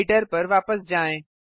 editor पर वापस जाएँ